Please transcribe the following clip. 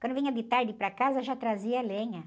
Quando vinha de tarde para casa, já trazia a lenha.